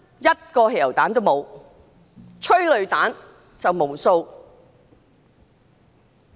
一個汽油彈都沒有，有的是無數的催淚彈。